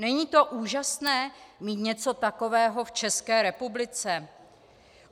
Není to úžasné, mít něco takového v České republice?